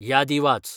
यादी वाच